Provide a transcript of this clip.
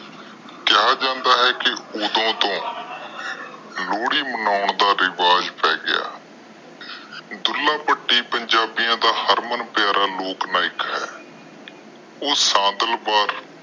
ਕਿਹਾ ਜਾਂਦਾ ਹੈ ਕਿ ਓਦੋ ਤੋਂ ਲੋਹੜੀ ਮਨਾਉਣ ਦਾ ਰਿਵਾਜ ਪੈ ਗਿਆ। ਢੁਲਾ ਭੱਟੀ ਪੰਜਾਬੀ ਦੀਆਂ ਦਾ ਹਰਮਨ ਪਯਾਰਾ ਲੋਕ ਨਾਇਕ ਹੈ।